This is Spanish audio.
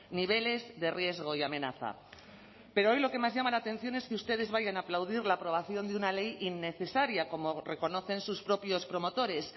niveles de riesgo y amenaza pero hoy lo que más llama la atención es que ustedes vayan a aplaudir la aprobación de una ley innecesaria como reconocen sus propios promotores